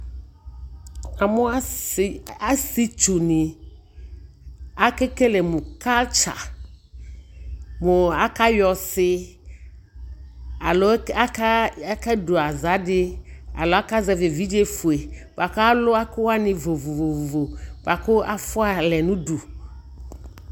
namʋ asii twʋ ni, akɛ kɛlɛ mʋ culture mʋ aka yɔ ɔsii alɔ aka dʋaza di alɔ aka zɛvi ɛvidzɛ ƒʋɛ bʋakʋ alʋ ɛkʋ wani vɔvɔvɔ bʋakʋ aƒʋa lɛnʋ ʋdʋ